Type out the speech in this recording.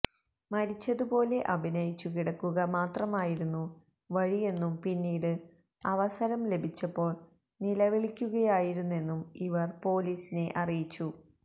മരിച്ചതുപോലെ അഭിനയിച്ചു കിടക്കുക മാത്രമായിരുന്നു വഴിയെന്നും പിന്നീട് അവസരം ലഭിച്ചപ്പോൾ നിലവിളിക്കുകയായിരുന്നെന്നും ഇവർ പൊലീസിനെ അറിയിച്ചു